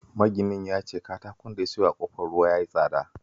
Maginan ya ce katakon da ya siyo a Ƙofar Ruwa ya yi tsada